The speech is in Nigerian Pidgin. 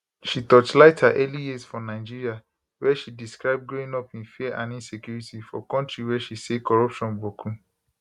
she torchlight her early years for nigeria wia she describe growing up in fear and insecurity for kontri wey she say corruption boku